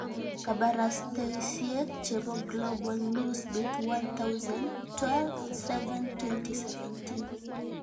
Kabarastaosyek chebo Global Newsbeat 1000 12/07/2017